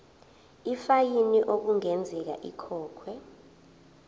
ifayini okungenzeka ikhokhwe